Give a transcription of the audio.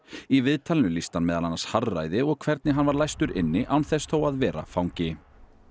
í viðtalinu lýsti hann meðal annars harðræði og því hvernig hann var læstur inni án þess þó að vera fangi